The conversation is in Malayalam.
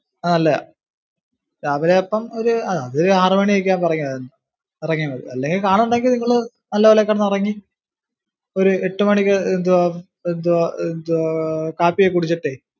അത് നല്ലയ. രാവിലെ അപ്പം ഒരു ആറു മണി ഒക്കെ ആകുമ്പോ ഇറങ്ങിയാ മതി. ഇറങ്ങിയാ മതി. അല്ലെ car ഉണ്ടെങ്കിൽ നിങ്ങള് നല്ലപോലെ ഒക്കെ കിടന്നു ഉറങ്ങി ഒരു എട്ടു മണിക്ക് എന്തുവാ എന്തുവാ എന്തുവാ കാപ്പി ഒക്കെ കുടിച്ചിട്ടേ.